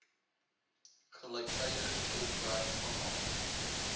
gelyktydige tolkwerk vanaf